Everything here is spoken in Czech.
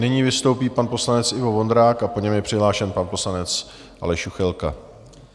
Nyní vystoupí pan poslanec Ivo Vondrák a po něm je přihlášen pan poslanec Aleš Juchelka.